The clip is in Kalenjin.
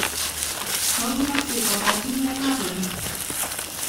Mapunokse oratinwek ap oli.